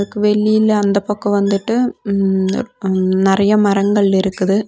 அதுக்கு வெளில அந்த பக்கோ வந்துட்டு ம் அம் நெறைய மரங்கள் இருக்குது.